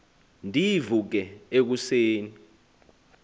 ndivuke eku seni